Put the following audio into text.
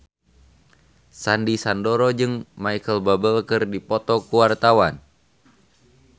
Sandy Sandoro jeung Micheal Bubble keur dipoto ku wartawan